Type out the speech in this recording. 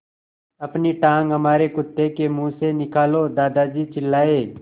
अपनी टाँग हमारे कुत्ते के मुँह से निकालो दादाजी चिल्लाए